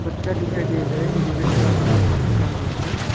बच्चा दिखाई दे रहा है जो रेड कलर का कपड़ा पहना हुआ है।